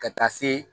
Ka taa se